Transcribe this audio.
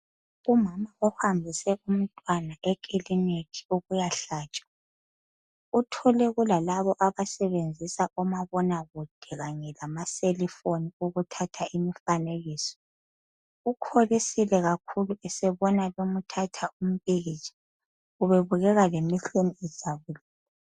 Umama uhambise umntwana ekiliniki ukuyahlatshwa, uthole kulalaba abasebenzisa omabonakude kanye lamaselifoni ukuthatha imifanekiso. Ukholisile kakhulu esebona sebemthatha umpikitsha. Ubebukeka lemehlweni ejabulile.